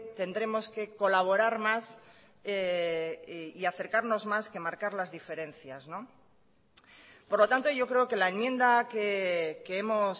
tendremos que colaborar más y acercarnos más que marcar las diferencias por lo tanto yo creo que la enmienda que hemos